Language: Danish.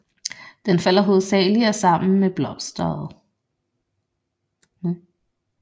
Den falder hovedsagelig af sammen med blosteret